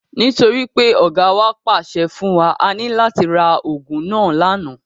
Nítorí pé Ọ̀gáa wa pàṣẹ fún wa, a ní láti ra ogún náà lànà.